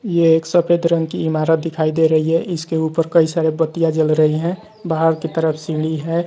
ये एक सफेद रंग की इमारत दिखाई दे रही है इसके ऊपर कई सारे बत्तियां जल रही हैं बाहर की तरफ सीढी है।